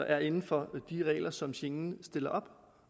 er inden for de regler som schengen stiller op